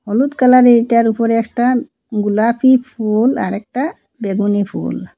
হলুদ কালারে এইটার ওপরে একটা গোলাপী ফুল আরেকটা বেগুনী ফুল।